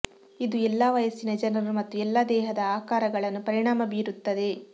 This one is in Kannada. ಇದು ಎಲ್ಲಾ ವಯಸ್ಸಿನ ಜನರು ಮತ್ತು ಎಲ್ಲಾ ದೇಹದ ಆಕಾರಗಳನ್ನು ಪರಿಣಾಮ ಬೀರುತ್ತದೆ